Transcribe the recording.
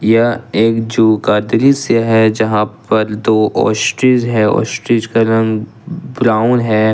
यह एक जू का दृश्य है जहां पर दो ओस्ट्रिच है ओस्ट्रिच का रंग ब्राउन है।